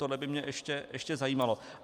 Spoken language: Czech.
Tohle by mě ještě zajímalo.